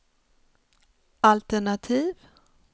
altenativ